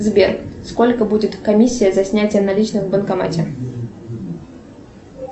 сбер сколько будет комиссия за снятие наличных в банкомате